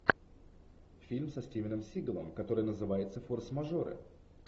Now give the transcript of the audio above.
фильм со стивеном сигалом который называется форс мажоры